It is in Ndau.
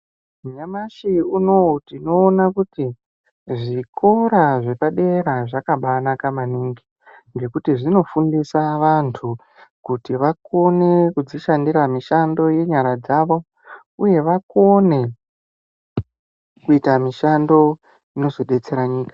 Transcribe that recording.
Nyamashi unou tinoona kuti zvikora zvepadera zvakabanaka maningi ngekuti zvinofundisa vantu kuti vakone kudzishandira mishando yenyara dzavo uye vakone kuita mishando inozodetsera nyika.